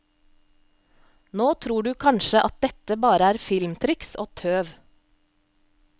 Nå tror du kanskje at dette bare er filmtriks og tøv.